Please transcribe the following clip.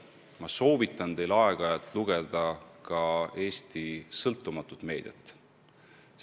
Ma soovitan teil aeg-ajalt lugeda ka Eesti sõltumatut meediat.